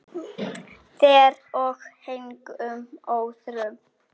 Þér og engum öðrum.